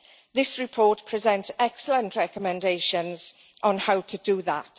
This report presents excellent recommendations on how to do that.